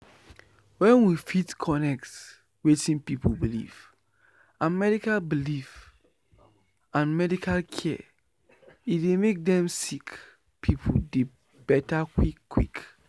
wen we fit connect wetin pipu believe and medical believe and medical care e dey make dem sick pipu dey beta quick quick.